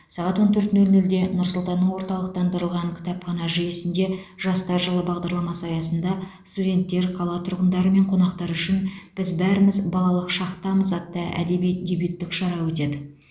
сағат он төрт нөл нөлде нұр сұлтанның орталықтандырылған кітапхана жүйесінде жастар жылы бағдарламасы аясында студенттер қала тұрғындары мен қонақтары үшін біз бәріміз балалық шақтанбыз атты әдеби дебюттік шара өтеді